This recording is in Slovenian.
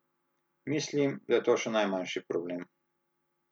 Mislim, da je to še najmanjši problem.